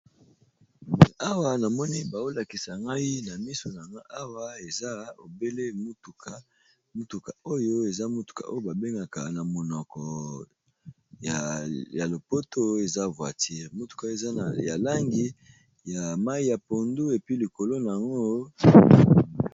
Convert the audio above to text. Awa tozali komona mituka mibale etelemi bazali bongo ko pangusa yango esika basukolaka mituka. Eza na langi ya pondu na mwa pembe.